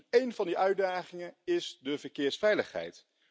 En een van die uitdagingen is de verkeersveiligheid.